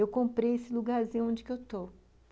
Eu comprei esse lugarzinho onde eu estou.